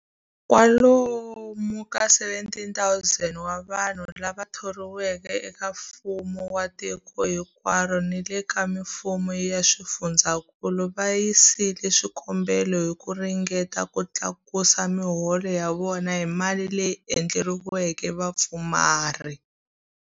Kwalomu ka 17,000 wa vanhu lava thoriweke eka mfumo wa tiko hinkwaro ni le ka mifumo ya swifundzankulu va yisile swikombelo hi ku ringeta ku tlakusa miholo ya vona hi mali leyi endleriweke vapfumari.